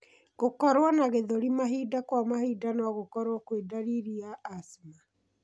Gũkorwo na gĩthũri mahinda kwa mahinda nogũkorwo kwĩ ndariri ya asthma.